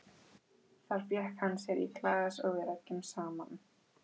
Þar fékk hann sér í glas og við ræddum saman.